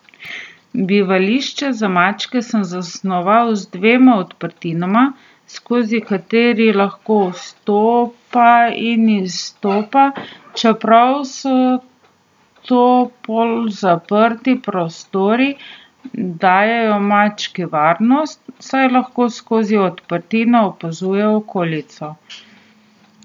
Bivališča za mačke sem zasnoval z dvema odprtinama, skozi kateri lahko vstopa in izstopa, čeprav so to polzaprti prostori, dajejo mački varnost, saj lahko skozi odprtine opazuje okolico.